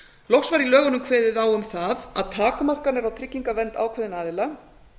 loks var í lögunum kveðið á um að að takmarkanir á vernd ákveðinna aðila